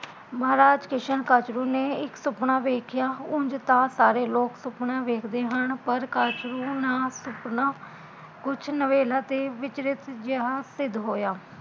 ਮਹਾਰਾਜ ਕਿਸ਼ਨ ਕੱਛਰੁ ਨੇ ਇੱਕ ਸੁਪਨਾ ਦੇਖਿਆ ਉਂਜ ਤਾਂ ਸਾਰੇ ਲੋਕ ਸੁਪਨਾ ਵੇਖਦੇ ਹਨ ਪਰ ਕੱਛਰੁ ਨਾਲ਼ ਕੁਜ ਨਵੇਲਾ ਤੇ ਵਿਚਰਤ ਜਿਹਾ ਸਿੱਧ ਹੋਇਆ